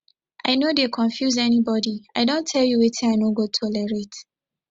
i no dey confuse anybodi i don tell you wetin i no go tolerate